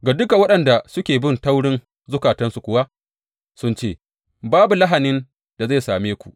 Ga duka waɗanda suke bin taurin zukatansu kuwa sukan ce, Babu lahanin da zai same ku.’